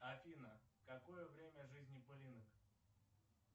афина какое время жизни пылинок